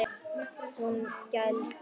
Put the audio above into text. Hún gældi.